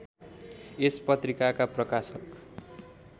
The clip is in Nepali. यस पत्रिकाका प्रकाशक